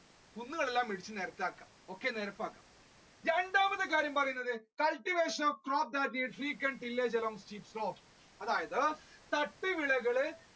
കുന്നുകളൊക്കെ വെട്ടി നിരപ്പാക്കുക രണ്ടാമത്തെ കാര്യം എന്ന് പറയുന്നത് cultivation of അതായത്